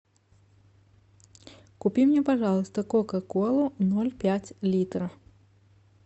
купи мне пожалуйста кока колу ноль пять литра